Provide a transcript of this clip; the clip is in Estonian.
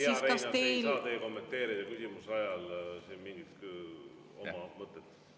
Hea Reinaas, te ei saa kommenteerida küsimuse ajal siin mingit oma mõtet.